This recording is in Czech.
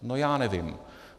No, já nevím.